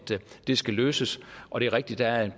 det skal løses og det er rigtigt at